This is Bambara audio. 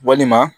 Walima